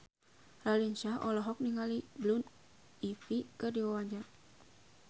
Raline Shah olohok ningali Blue Ivy keur diwawancara